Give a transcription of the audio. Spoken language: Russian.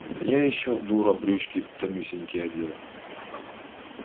а я ещё дура брючки тонюсенькие одела